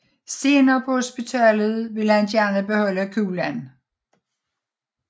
Senere på hospitalet ville han gerne beholde kuglen